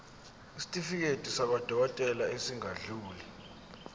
isitifiketi sakwadokodela esingadluli